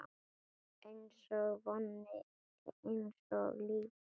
Einsog vonin, einsog lífið